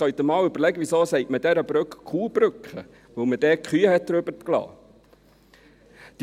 Jetzt können Sie sich überlegen, weshalb man diese Brücke Kuhbrücke nennt: weil man dort Kühe darüber gelassen hat.